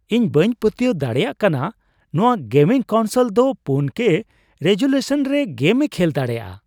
ᱤᱧ ᱵᱟᱹᱧ ᱯᱟᱹᱛᱭᱟᱹᱣ ᱫᱟᱲᱮᱭᱟᱜ ᱠᱟᱱᱟ ᱱᱚᱶᱟ ᱜᱮᱢᱤᱝ ᱠᱚᱱᱥᱳᱞ ᱫᱚ ᱔ᱠᱮ ᱨᱮᱡᱳᱞᱤᱭᱩᱥᱚᱱ ᱨᱮ ᱜᱮᱢ ᱮ ᱠᱷᱮᱞ ᱫᱟᱲᱮᱭᱟᱜᱼᱟ ᱾